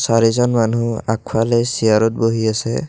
চাৰিজন মানুহ আগফালে চিয়াৰত বহি আছে।